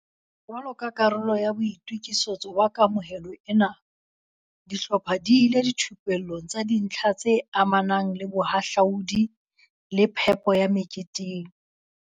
Jwalo ka karolo ya boito kisetso ba kamohelo ena, di hlopha di ile dithupellong tsa dintlha tse amanang le bohahlaudi le phepo ya me keteng.